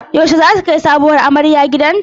Yaushe zasu kai sabuwar amarya gidanta?